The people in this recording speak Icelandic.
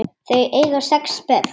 Þau eiga sex börn.